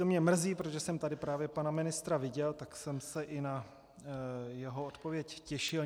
To mě mrzí, protože jsem tady právě pana ministra viděl, tak jsem se i na jeho odpověď těšil.